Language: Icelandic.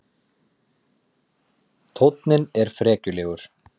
Tónninn er frekjulegur.